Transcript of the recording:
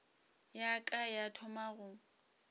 ya ka ya thoma go